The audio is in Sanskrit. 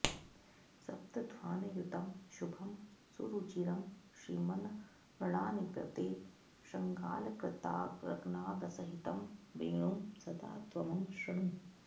सप्तध्वानयुतं शुभं सुरुचिरं श्रीमन् मृडानीपते शृङ्गालङ्कृतरागनादसहितं वेणुं सदा त्वं शृणु